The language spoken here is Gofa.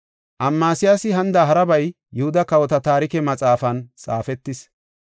Amasiyaasi hanida harabay Yihuda kawota Taarike Maxaafan xaafetis.